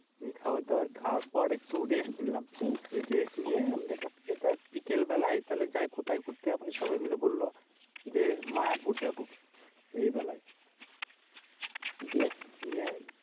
খাবার দাবার খাবার পর একটু Rest নিলাম। Rest নিয়ে আমরা দেখ বিকেল বেলায় সবাই মিলে ঘুরতে। আমি বললাম দেখ মায়াপুর যাবো এই বেলায়। গিয়ে